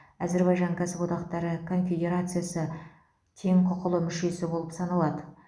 әзірбайжан кәсіподақтары конфедерациясы тең құқылы мүшесі болып саналады